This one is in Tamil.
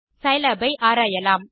சிலாப் ஐ ஆராயலாம்